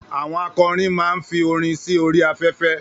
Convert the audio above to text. Àwọn akọrin ma ń fi orin sí orí afẹ́fẹ́